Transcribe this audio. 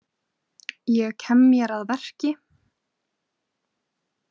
Ég kem mér að verki.